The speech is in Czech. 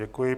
Děkuji.